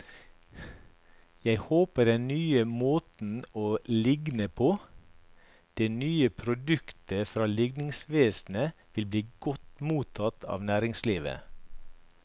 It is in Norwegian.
Jeg håper den nye måten å ligne på, det nye produktet fra ligningsvesenet, vil bli godt mottatt av næringslivet.